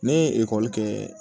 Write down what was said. Ne ye ekɔli kɛ